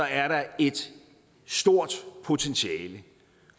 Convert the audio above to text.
er der et stort potentiale